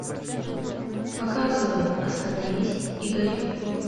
показывай остановись и гори